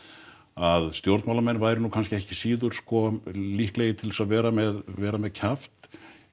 að stjórnmálamenn væru ekki síður sko líklegir til þess að vera með vera með kjaft